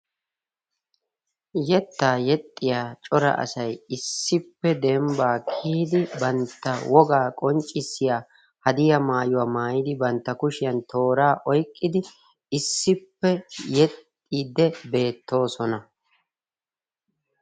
Yettaa yexxiya cora asay issippe dembbaa kiyidi bantta wogaa qonccissiya hadiyaa maayuwa maayidi banttaa kushshiyan tooraa oyqqadi issippe yexxiidi beettoosona.